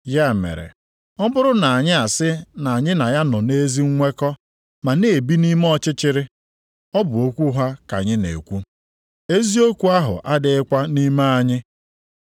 Ya mere ọ bụrụ na anyị asị na anyị na ya nọ nʼezi nnwekọ ma na-ebi nʼime ọchịchịrị, ọ bụ okwu ụgha ka anyị na-ekwu. Eziokwu ahụ adịghịkwa nʼime anyị.